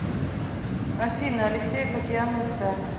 афина алексеев океанами стали